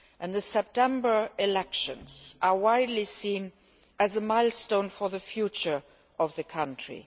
The September elections are widely seen as a milestone for the future of the country.